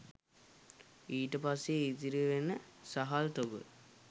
ඊට පස්සේ ඉතිරි වෙන සහල් තොග